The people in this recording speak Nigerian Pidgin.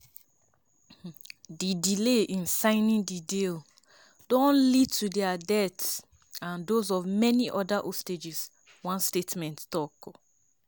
"di delay in signing di deal don lead to dia deaths and dose of many oda hostages" one statement tok.